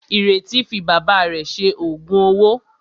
Ìrètí fi bàbá rẹ̀ ṣe òògùn owó.